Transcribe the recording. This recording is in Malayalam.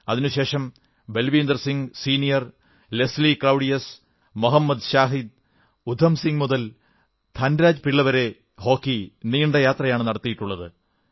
അതിനുശേഷം ബൽവീന്ദർ സിംഹ് സീനിയർ ലേസ്ലി ക്ലൌഡിയസ് മൊഹമ്മദ് ശാഹിദ് ഉദ്ധം സിംഗ് മുതൽ ധൻരാജ് പിള്ള വരെ ഹോക്കി നീണ്ട യാത്രയാണ് നടത്തിയിട്ടുള്ളത്